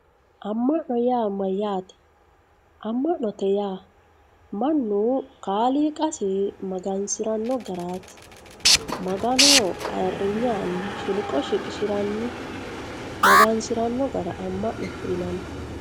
amma'no yaa mayaate amma'note yaa mannu kaliiqasi magansiranno garaati maganoho ayirinye aanni shilqo shiqishiranni magansiranno gara amma'note yinanni.